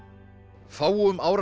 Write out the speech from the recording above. fáum áratugum